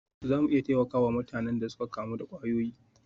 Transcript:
Za mu iya taimaka wa mutanen da suka kamu da kwayoyi?